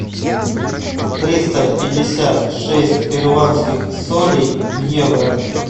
триста пятьдесят шесть перуанских солей в евро